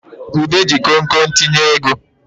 Ude ji konkon tinye ego